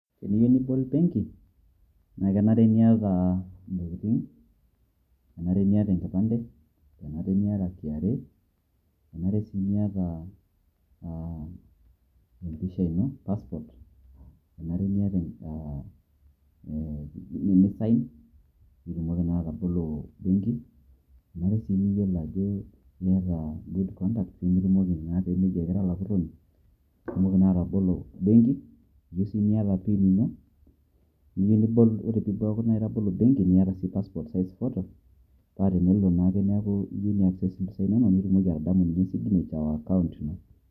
Teniyieu nibol benki, naa kenare niata entokitin', enare niata enkipante, enare niata KRA, enare sii niata aa a empisha ino paspot enare niata aa aa nisain, peetumoki naa atobolo ebenki, enare sii niyiolo ajo data good contact pee meji ake ira olapurroni peetumoki naa atobolo ebenk enare sii niata PIN Ino piitumoki naa atobolo ebenki enare sii niata paspot ephoto paa tenelo naake iyieu neasisho nitumoki atadamu signature ekaunt ino.